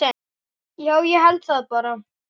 Já, ég held það bara.